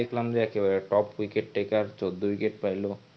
দেখলাম যে একেবারে top cricket taker চৌদ্দ wicket ফেললো